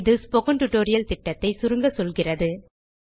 இது spoken tutorial திட்டத்தை சுருங்க சொல்கிறது